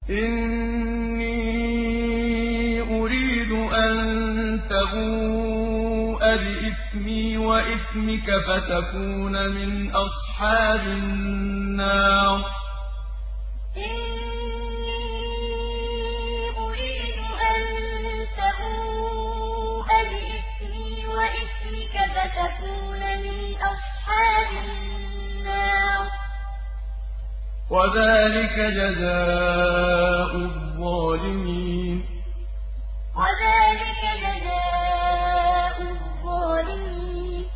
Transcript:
إِنِّي أُرِيدُ أَن تَبُوءَ بِإِثْمِي وَإِثْمِكَ فَتَكُونَ مِنْ أَصْحَابِ النَّارِ ۚ وَذَٰلِكَ جَزَاءُ الظَّالِمِينَ إِنِّي أُرِيدُ أَن تَبُوءَ بِإِثْمِي وَإِثْمِكَ فَتَكُونَ مِنْ أَصْحَابِ النَّارِ ۚ وَذَٰلِكَ جَزَاءُ الظَّالِمِينَ